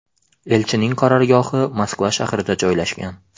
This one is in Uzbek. Elchining qarorgohi Moskva shahrida joylashgan.